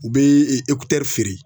U bɛ feere